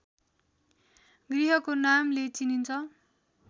गृहको नामले चिनिन्छ